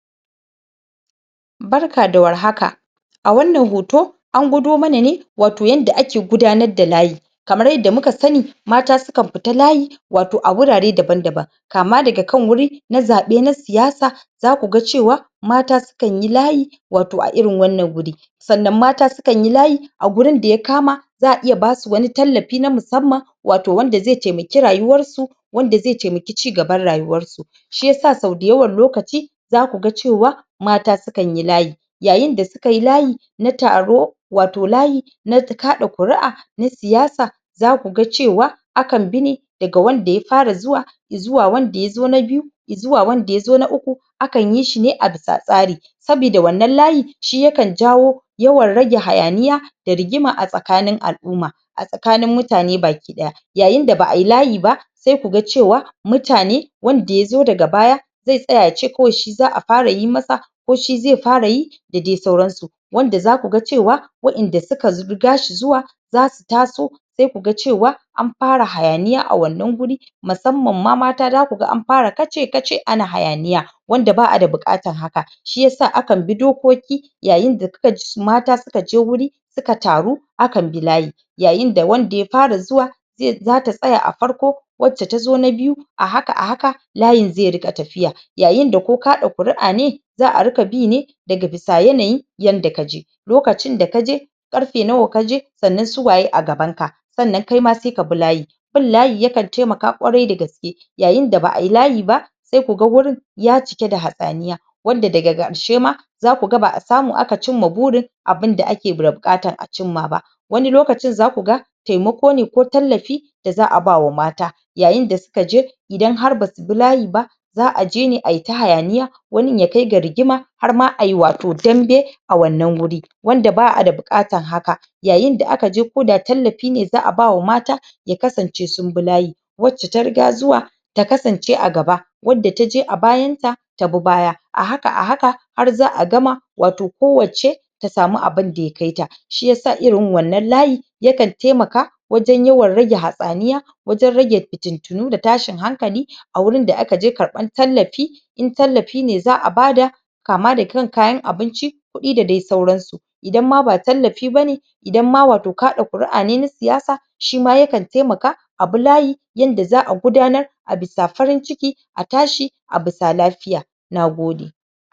Barka da warhaka. A wannan hoto an gwado mana ne wato yanda ake gudanar da layi kamar yadda muka sani mata sukan fita layi wato a wurare daban-daban kama daga kan wuri na zaɓe na siyasa zakuga cewa mata sukanyi layi wato a irin wannan guri sannan mata sukanyi layi a gurin da ya kama za a iya basu wani tallafi na musamman wato wanda ze temaki rayuwarsu wanda ze temaki cigaban rayuwarsu shiyasa sau dayawan lokaci zakuga cewa mata sukanyi layi yayinda sukayi layi na taro wato layi na kaɗa ƙuri'a na siyasa zakuga cewa akan bi ne daga wanda ya fara zuwa, izuwa wanda yazo na biyu, izuwa wanda yazo na uku, akan yi shine abisa tsari sabida wannan layi shi yakan jawo yawan rage hayaniya da rigima a tsakanin al'uma a tsakanin mutane bakiɗaya yayinda ba ai layi ba se kuga cewa mutane wanda yazo daga baya ze tsaya yace kawai shi za a fara yi masa ko shi ze fara yi da dai sauransu wanda zakuga cewa wa'inda suka riga shi zuwa zasu taso sai kuga cewa an fara hayaniya a wannan guri musamman ma mata, dakuga an fara kace-kace ana hayaniya wanda ba a da buƙatan haka shiyasa akan bi dokoki yayinda kukaji mata sukaje wuri suka taru akanbi layi yayinda wanda ya fara zuwa ze ,zata tsaya a farko, wacce tazo na biyu a haka,a haka layin ze riƙa tafya yayinda ko kaɗa ƙuri'a ne za a rika bine daga bisa yanayi yanda kaje lokacin da kaje, ƙarfe nawa kaje, sannan suwaye a gabanka sanna kaima sai kabi layi bin layi yakan temaka ƙwarai da gaske yayinda ba ai layi ba sai kuga wurin ya cike da hatsaniya wanda daga ƙarshe ma zakuga ba a samu aka cimma burin abinda ake da buƙatan a cimma ba wani lokacin zakuga temakone ko tallafi da za a bawa mata yayinda sukaje idan har basu bi layi ba za aje ne ai ta hayaniya wanin ya kai ga rigima harma ai wato dambe a wannan guri wanda ba a da buƙatan haka yayinda akaje koda tallafine za a bawa mata ya kasance sun bi layi wacce ta riga zuwa ta kasance a gaba wadda taje a bayanta tabi baya a haka,a haka har za a gama wato kowacce ta samu abinda ya kaita shiyasa irin wannan layi yakan temaka wajen yawan rage hatsaniya wajen rage fitintinu da tashin hankali a wurin da akaje karɓan tallafi in tallafine za a bada kama daga kan kayan abinci kuɗi da dai sauransu idan ma ba tallafi bane idanma wato kaɗa ƙuri'a ne na siyasa shima yakan temaka abi layi yanda za a gudanar abisa farin ciki a tashi abisa lafiya. Nagode.